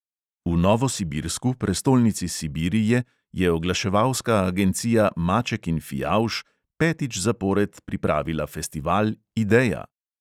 V novosibirsku, prestolnici sibirije, je oglaševalska agencija maček in fijavž petič zapored pripravila festival ideja!